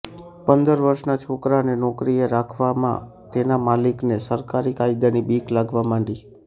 પંદર વર્ષના છોકરાને નોકરીએ રાખવામાં તેના માલિકને સરકારી કાયદાની બીક લાગવા માંડી